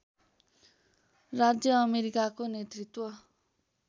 राज्य अमेरिकाको नेतृत्व